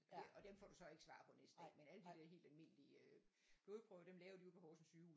Det og dem få du så ikke svar på næste dag men alle de der helt almindelige øh blodbprøver dem laver de ude på Horsens sygehus